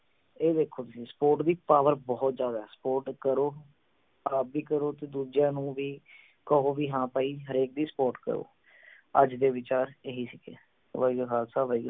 ਇਹ ਵੇਖੋ ਤੁਸੀਂ support ਦੀ power ਬਹੁਤ ਜਿਆਦੇ support ਕਰੋ ਆਪ ਵੀ ਕਰੋ ਤੇ ਦੁੱਜਿਆਂ ਨੂੰ ਵੀ ਕਹੋ ਵੀ ਹਾਂ ਭਾਈ ਹਰੇਕ ਦੀ support ਕਰੋ। ਅੱਜ ਦੇ ਵਿਚਾਰ ਏਹੀ ਸੀ ਗੇ। ਵਾਹਿਗੁਰੂ ਜੀ ਕਾ ਖਾਲਸਾ ਵਾਹਿਗੁਰੂ